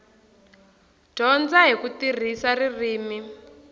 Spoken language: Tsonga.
dyondza hi ku tirhisa ririmi